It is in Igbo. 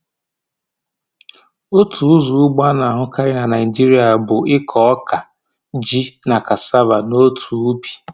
Otu ụzọ ugbo a na-ahụkarị na Naịjịrịa bụ ịkụ ọka, ji, na cassava n’otu ubi.